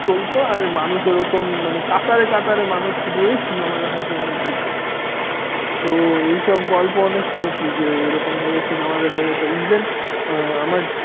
চলতো আর মানুষ ওই রকম কাতারে কাতারে মানুষ শুধু ওই cinema দেখার জন্য ভিড় করত। তো এই সব গল্প অনেক শুনেছি যে এইরকম ভাবে cinema দেখা যেত even আমার